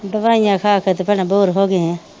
ਦਵਾਈਆਂ ਖਾ ਖਾ ਕੇ ਤੇ ਭੈਣਾਂ ਬੋਰ ਹੋ ਗਏ ਆ।